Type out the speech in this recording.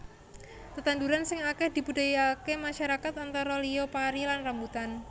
Tetandhuran sing akèh dibudidayaaké masyarakat antara liya pari lan rambutan